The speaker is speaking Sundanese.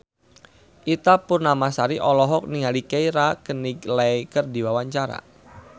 Ita Purnamasari olohok ningali Keira Knightley keur diwawancara